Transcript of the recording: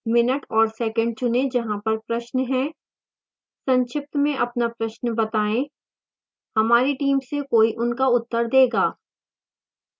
minute और second चुनें जहाँ पर प्रश्न है संक्षिप्त में अपना प्रश्न बताएं हमारी टीम से कोई उनका उत्तर देगा